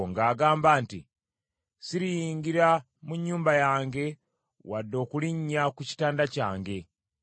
ng’agamba nti, “Siriyingira mu nnyumba yange, wadde okulinnya ku kitanda kyange.